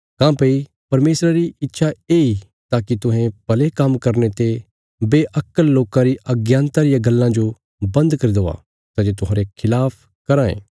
काँह्भई परमेशरा री इच्छा येई ताकि तुहें भले काम्म करने ते बेअक्कल लोकां री अज्ञानता रियां गल्लां जो बन्द करी देआ सै जे तुहांरे खिलाफ कराँ ये